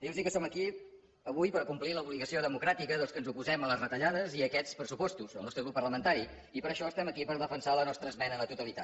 dir los que som aquí avui per complir l’obligació democràtica dels que ens oposem a les retallades i a aquests pressupostos el nostre grup parlamentari i per això estem aquí per defensar la nostra esmena a la totalitat